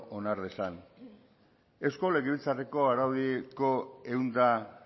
onar dezan eusko legebiltzarreko araudiko ehun eta